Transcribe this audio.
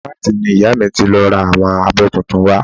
Shoprite ni ìyá mi ti lọ ra àwọn abọ́ tuntun wa